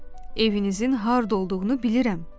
Evinizin harda olduğunu bilirəm,